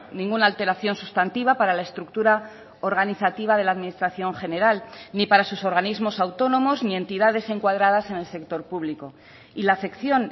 ninguna alteración sustantiva para la estructura organizativa de la administración general ni para sus organismos autónomos ni entidades encuadradas en el sector público y la afección